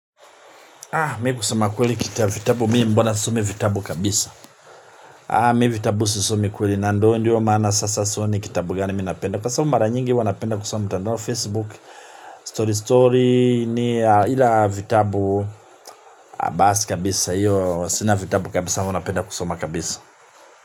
Mi kusema kweli kitabu vitabu, mimi mbona sisomi vitabu kabisa. Mi vitabu sisomi kweli nandoo ndio maana sasa sioni kitabu gani minapenda kwa sabu mara nyingi uwanapenda kusoma mtandao Facebook, Story Story ni ila vitabu basi kabisa. Sina vitabu kabisa huwanapenda kusoma kabisa.